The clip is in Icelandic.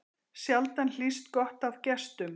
Sjaldan hlýst gott af gestum.